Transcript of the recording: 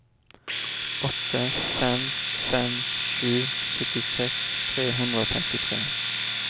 åtte fem fem sju syttiseks tre hundre og femtitre